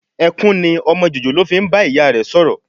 Ẹkún ni ọmọ jòjòló fi ń bá ìyá rẹ sọ̀rọ̀